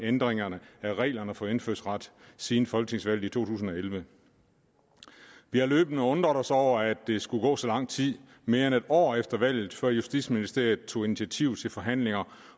ændringerne af reglerne for indfødsret siden folketingsvalget i to tusind og elleve vi har løbende undret os over at der skulle gå så lang tid mere end et år efter valget før justitsministeriet tog initiativ til forhandlinger